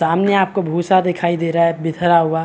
सामने आपको भूषा दिखाई दे रहा बिखरा हुआ--